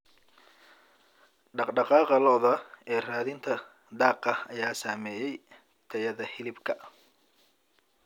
Dhaqdhaqaaqa lo'da ee raadinta daaqa ayaa saameeya tayada hilibka.